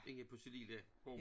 Inde på sin lille gård